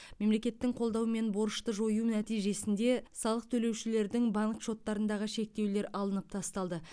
мемлекеттің қолдаумен борышты жою нәтижесінде салық төлеушілердің банк шоттарындағы шектеулер алынып тасталды